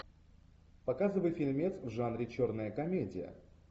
показывай фильмец в жанре черная комедия